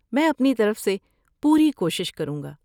میں اپنی طرف سے پوری کوشش کروں گا۔